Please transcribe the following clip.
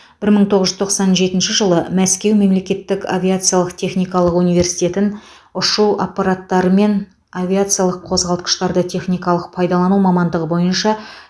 бір мың тоғыз жүз тоқсан жетінші жылы мәскеу мемлекеттік авиациялық техникалық университетін ұшу аппараттары мен авиациялық қозғалтқыштарды техникалық пайдалану мамандығы бойынша